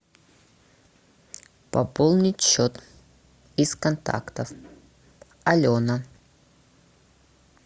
пополнить счет из контактов алена